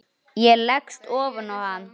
Ég leggst ofan á hann.